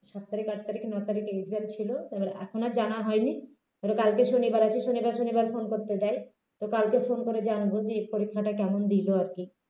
সাত তারিখ আট তারিখ নয় তারিখে exam ছিল তা এখন আর জানা হয়নি ধরো কালকে শনিবার আজকে শনিবার শনিবার phone করতে দেয় তো কালকে phone করে জানব যে এই পরীক্ষাটা কেমন দিলো আর কি